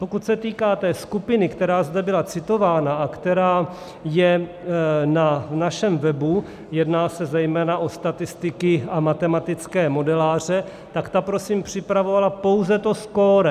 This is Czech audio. Pokud se týká té skupiny, které zde byla citována a která je na našem webu, jedná se zejména o statistiky a matematické modeláře, tak ta prosím připravovala pouze to skóre.